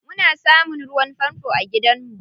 Muna samun ruwan fanfo a gidanmu.